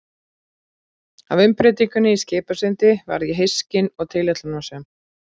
Af umbreytingunni í Skipasundi varð ég hyskin og tilætlunarsöm.